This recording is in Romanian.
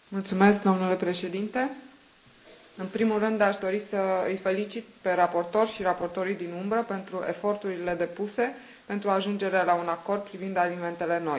Domnule Președinte, în primul rând aș dori să îi felicit pe raportor și raportorii din umbră pentru eforturile depuse pentru ajungerea la un acord privind alimentele noi.